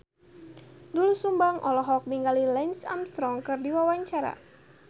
Doel Sumbang olohok ningali Lance Armstrong keur diwawancara